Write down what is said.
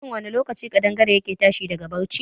Shin wani lokaci kaɗangare ya ke tashi a barci?